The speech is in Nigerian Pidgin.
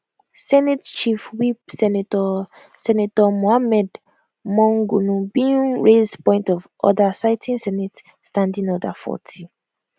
senate chief whip senator senator mohammed monguno bin raise point of order citing senate standing order 40